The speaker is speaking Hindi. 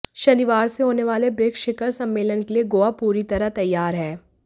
शनिवार से होने वाले ब्रिक्स शिखर सम्मेलन के लिए गोवा पूरी तरह तैयार है